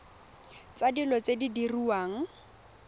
tsa dilo tse di diriwang